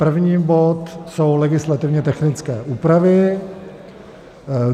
1. bod jsou legislativně technické úpravy.